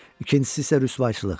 İkincisi isə rüsvayçılıq.